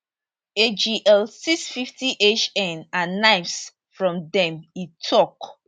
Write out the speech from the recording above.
agl 650 hn and knives from dem e tok